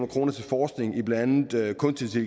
kroner til forskning i blandt andet kunstig